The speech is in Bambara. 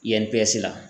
Yanni pese la